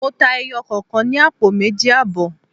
Mo ta ẹyọ kọ̀kan ní àpò méjì àbọ̀.